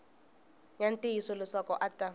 ya ntiyiso leswaku a ta